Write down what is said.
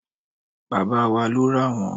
baba wa lo ra won